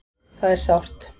Það er sárt